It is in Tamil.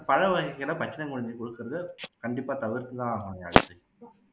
பழ வகைகளை பச்சிளம் குழந்தைகளுக்கு குடுக்குறதை கண்டிப்பா தவிர்த்து தான் ஆகணும்